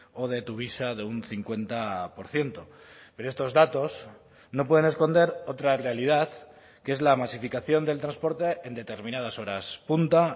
o de tuvisa de un cincuenta por ciento pero estos datos no pueden esconder otra realidad que es la masificación del transporte en determinadas horas punta